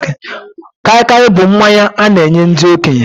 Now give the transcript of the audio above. Kaikai bụ mmanya a na-enye ndị okenye